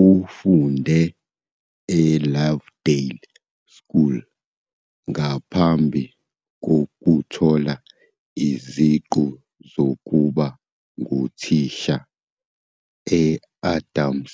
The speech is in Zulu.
Ufunde eLovedale School ngaphambi kokuthola iziqu zokuba nguthisha e-Adams